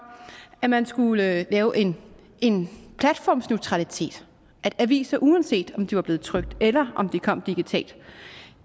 at man skulle lave en platformsneutralitet at aviser uanset om de var blevet trykt eller om de kom digitalt